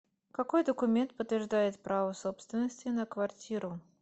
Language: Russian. какой документ подтверждает право собственности на квартиру